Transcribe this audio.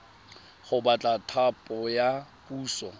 go batla thapo ya puso